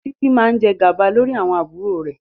Títí máa jẹ gàba lórí àwọn àbúrò rẹ̀.